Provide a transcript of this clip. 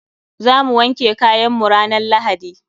Za mu wanke kayan mu ranan lahadi.